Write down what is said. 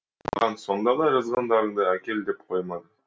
маған сонда да жазғандарыңды әкел деп қоймады